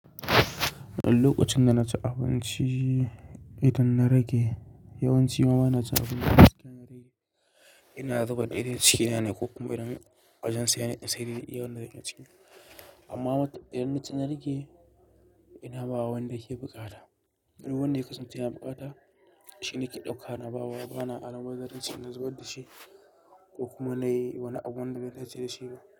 Lokacin da na ci abinci idan na rage, yawanci ma na na ci abincin da suka rage. Ina zubar dai dai cikin nane ko kuma idan awajen saye na saye, wanda zan iya ci. Amma idan na ci na rage, ina bawa wanda yake bukata. Wanda ya kasance yana bukata shine ke ɗauka na bawa. Ba na al bazaran ci na zubar da shi ko kuma nayi wani abu wanda ban tashi da shi ba.